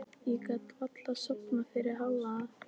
Ég gat varla sofnað fyrir hávaða.